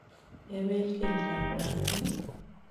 Kebeel keldab lakweet?